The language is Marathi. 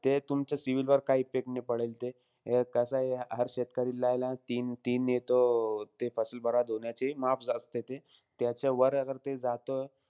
ते तुमचे CIBIL वर काही effect नाई पडेल ते. हे कसंय हर शेतकरीलाय ना तीन-तीन अं तो ते बरबाद होण्याची, माफ असते ते. त्याच्यावर अगर ते जातं,